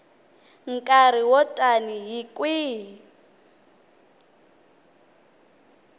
nkarhi wo tani hi kwihi